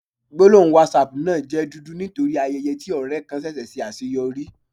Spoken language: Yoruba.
Gbólóhùn Whatsapp náà jẹ́ dúdú nítorí ayẹyẹ tí ọ̀rẹ kan ṣẹṣẹ̀ ṣe àṣeyọrí.